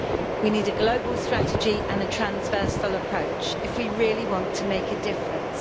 We need a global strategy and a transversal approach if we really want to make a difference.